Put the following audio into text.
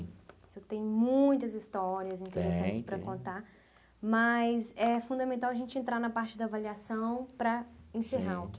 O senhor tem muitas histórias interessantes para contar, mas é fundamental a gente entrar na parte da avaliação para encerrar.